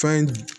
Fɛn